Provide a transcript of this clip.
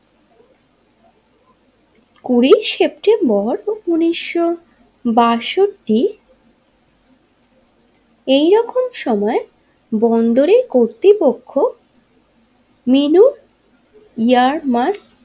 কুড়ি সেপ্টেম্বর উনিশশো বাষট্টি এইরকম সময়ে বন্দরের কর্তৃপক্ষ মিনু ইয়ারমার্ক।